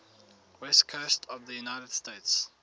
west coast of the united states